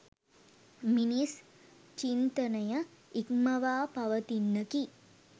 මිනිස් චින්තනය ඉක්මවා පවතින්නකි